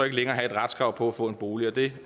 ikke længere have et retskrav på at få en bolig det